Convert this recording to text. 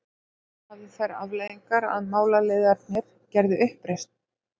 Það hafði þær afleiðingar að málaliðarnir gerðu uppreisn.